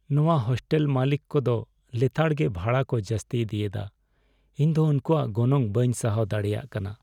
ᱱᱚᱶᱟ ᱦᱳᱥᱴᱮᱞ ᱢᱟᱹᱞᱤᱠ ᱠᱚ ᱫᱚ ᱞᱮᱛᱟᱲ ᱜᱮ ᱵᱷᱟᱲᱟ ᱠᱚ ᱡᱟᱹᱥᱛᱤ ᱤᱫᱤᱭᱮᱫᱟ, ᱤᱧ ᱫᱚ ᱩᱝᱠᱩᱣᱟᱜ ᱜᱚᱱᱚᱝ ᱵᱟᱹᱧ ᱥᱟᱦᱟᱣ ᱫᱟᱲᱮᱭᱟᱜ ᱠᱟᱱᱟ ᱾